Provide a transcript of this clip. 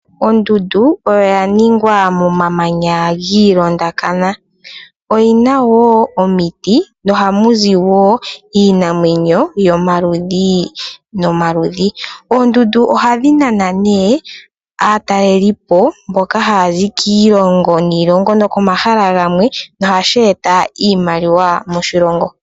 Ondundu oya ningwa momamanya giilondakana, oyi na woo omiti noha mu zi iinamwenyo yomaludhi nomaludhi. Oondundu ohadhi nana ne aatalelipo, mboka haya zi kiilongo niilongo nokomahala gamwe nohasheeta iimaliwa moshilingo.